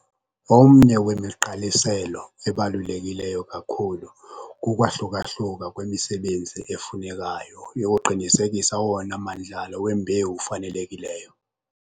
Omnye wemigqaliselo ebaluleke kakhulu kukwahluka-hluka kwemisebenzi efunekayo yokuqinisekisa owona mandlalo wembewu ufanelekileyo.